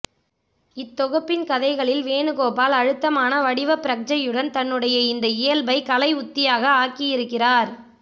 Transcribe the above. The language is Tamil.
இத்தொகுப்பின் கதைகளில் வேணுகோபால் அழுத்தமான வடிவப்பிரக்ஞையுடன் தன்னுடைய இந்த இயல்பை கலை உத்தியாக ஆக்கியிருக்கிறார்